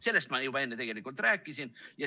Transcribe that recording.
Sellest ma enne juba tegelikult rääkisin.